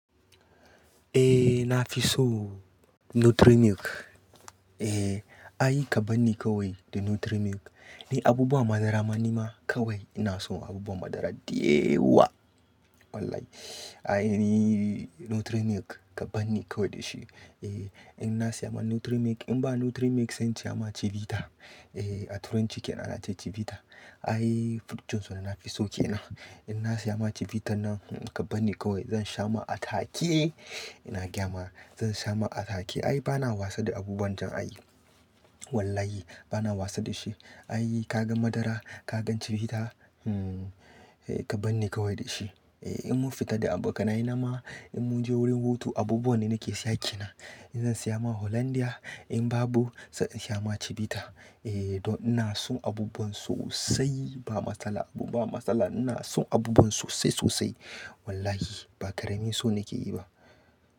Eh na fi so Nutri Milk. Eh, ayi ka bani kawai da Nutri Milk. Ni abubuwan madara ma nima kawai ina son abubuwan madara dayawa. Wallahi, ayi Nutri Milk ka bani kawai da shi. Eh, in na siya ma Nutri Milk, in ba Nutri Milk sai siya ma Chivita. Eh, a turo cikin na, na ce Chivita. Aibfruit juice dana fi so kenan. In na siya ma Chivita nan ka bani kawai zan sha ma a take. Ina gyama zan sha ma a take. Ayi bana wasa da abubuwan can ai. Wallahi bana wasa da shi. Ayi ka gan madara, ka gan Chivita, hmm, eh ka bani kawai da shi. Eh in mun fita da abokanai na ma in mun je wurin hutu abubuwan ne nake siya ke na. In zan siya ma Hollandia in babu sai in sha ma Chivita. Eh, don ina son abubuwan sosai ba matsala abu ba matsala ina son abubuwan sosai sosai. Wallahi ba ƙaramin so nake yi ba.